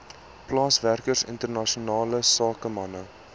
plaaswerkers internasionale sakemanne